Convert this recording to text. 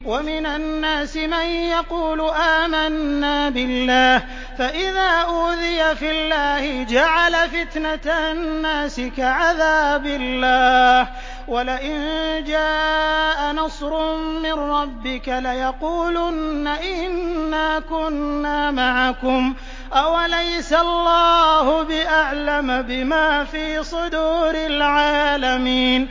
وَمِنَ النَّاسِ مَن يَقُولُ آمَنَّا بِاللَّهِ فَإِذَا أُوذِيَ فِي اللَّهِ جَعَلَ فِتْنَةَ النَّاسِ كَعَذَابِ اللَّهِ وَلَئِن جَاءَ نَصْرٌ مِّن رَّبِّكَ لَيَقُولُنَّ إِنَّا كُنَّا مَعَكُمْ ۚ أَوَلَيْسَ اللَّهُ بِأَعْلَمَ بِمَا فِي صُدُورِ الْعَالَمِينَ